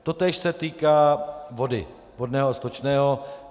Totéž se týká vody, vodného a stočného.